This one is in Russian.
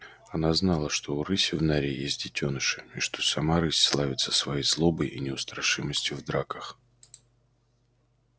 она знала что у рыси в норе есть детёныши и что сама рысь славится своей злобой и неустрашимостью в драках